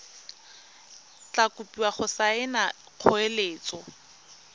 tla kopiwa go saena kgoeletso